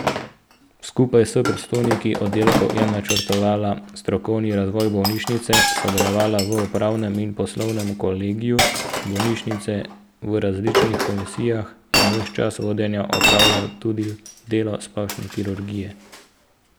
Skupaj s predstojniki oddelkov je načrtovala strokovni razvoj bolnišnice, sodelovala v upravnem in poslovnem kolegiju bolnišnice, v različnih komisijah in ves čas vodenja opravljala tudi delo splošne kirurginje.